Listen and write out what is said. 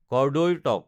কৰ্দৈৰ টক